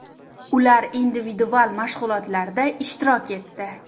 Ular individual mashg‘ulotlarda ishtirok etdi.